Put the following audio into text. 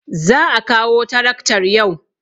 Za a kawo taraktar yau.